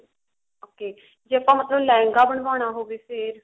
okay ਜੇ ਆਪਾਂ ਮਤਲਬ ਲਹਿੰਗਾ ਬਨਵਾਉਣਾ ਹੋਵੇ ਫ਼ੇਰ